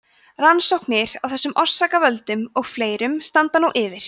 rannsóknir á þessum orsakavöldum og fleirum standa nú yfir